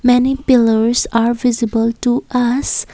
many pillars are visible to us.